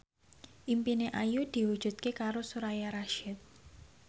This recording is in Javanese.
impine Ayu diwujudke karo Soraya Rasyid